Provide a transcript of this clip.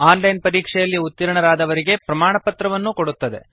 on line ಪರೀಕ್ಷೆಯಲ್ಲಿ ಉತ್ತೀರ್ಣರಾದವರಿಗೆ ಪ್ರಮಾಣಪತ್ರವನ್ನು ಕೊಡುತ್ತದೆ